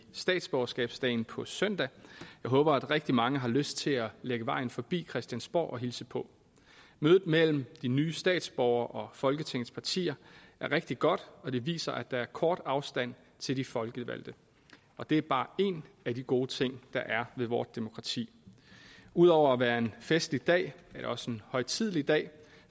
statsborgerskabsdagen på søndag jeg håber at rigtig mange har lyst til at lægge vejen forbi christiansborg og hilse på mødet mellem de nye statsborgere og folketingets partier er rigtig godt og det viser at der er kort afstand til de folkevalgte det er bare én af de gode ting der er ved vort demokrati ud over at være en festlig dag er det også en højtidelig dag